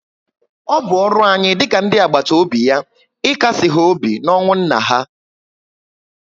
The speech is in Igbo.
O bụ ọrụ anyị dị ka ndị àgbàtà óbị ya ikasi ha obi na ọnwụ nna ha